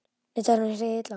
Nei, tæknin er hið illa.